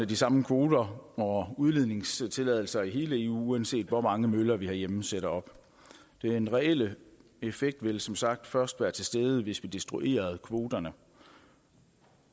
de samme kvoter og udledningstilladelser i hele eu uanset hvor mange møller vi herhjemme sætter op den reelle effekt ville som sagt først være til stede hvis vi destruerede kvoterne